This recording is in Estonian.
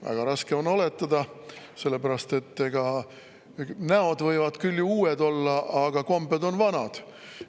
Väga raske on oletada, sellepärast et näod võivad küll uued olla, aga kombed on vanad.